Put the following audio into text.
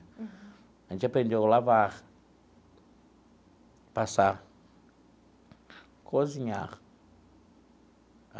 Uhum. A gente aprendeu a lavar, passar, cozinhar.